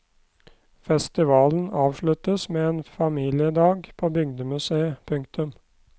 Festivalen avsluttes med familiedag på bygdemuseet. punktum